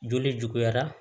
Joli juguyara